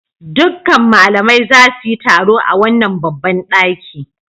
Dukkan malamai za su yi taro a wannan babban ɗaki.